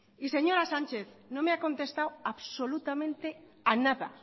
y señora sánchez no me ha contestado absolutamente a nada